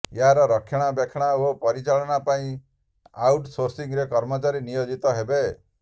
ଏହାର ରକ୍ଷଣାବେକ୍ଷଣ ଓ ପରିଚାଳନା ପାଇଁ ଆଉଟ ସୋର୍ସିଂରେ କର୍ମଚାରୀ ନିୟୋଜିତ ହେବେ